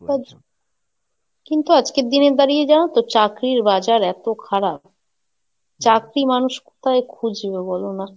কিন্তু আজকের দিনে দাঁড়িয়ে জানোতো চাকরির বাজার এতো খারাপ, চাকরি মানুষ কোথায় খুঁজবে বলো না?